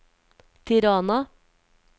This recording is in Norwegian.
Tirana